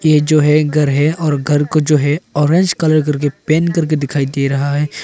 ये जो है एक घर है और घर को जो है ऑरेंज कलर करके पेंट करके दिखाई दे रहा है।